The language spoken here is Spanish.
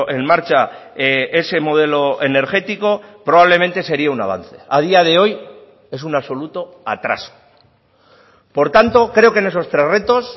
en marcha ese modelo energético probablemente sería un avance a día de hoy es un absoluto atraso por tanto creo que en esos tres retos